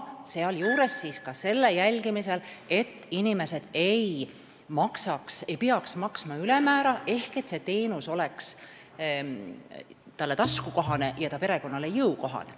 Sealjuures tuleb jälgida, et inimene ei peaks ülemäära maksma, et teenus oleks talle taskukohane ja ta perekonnale jõukohane.